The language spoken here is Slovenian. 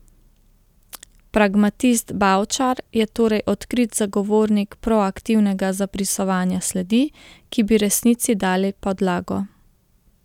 Pragmatist Bavčar je torej odkrit zagovornik proaktivnega zabrisovanja sledi, ki bi resnici dale podlago.